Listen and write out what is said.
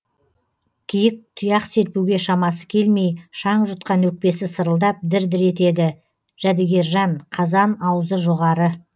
киік тұяқ серпуге шамасы келмей шаң жұтқан өкпесі сырылдап дір дір етеді жәдігержан қазан аузы жоғары